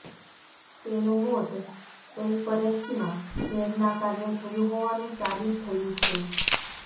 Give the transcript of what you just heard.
તેનું મોત એલપરેક્સના ઝેરના કારણે થયું હોવાનું સાબીત થયું છે